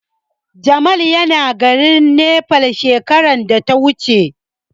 Jamal yana garin Nepal shekarar da ta wuce.